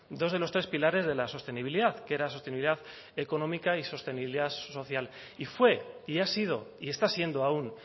dos de los tres pilares de la sostenibilidad que era sostenibilidad económica y sostenibilidad social y fue y ha sido y está siendo aún